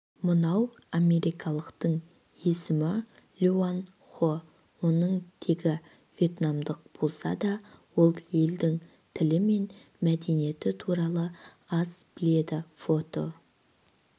мынау америкалықтың есімі лоан хо оның тегі вьетнамдық болса да ол елдің тілі мен мәдениеті туралы аз біледі фото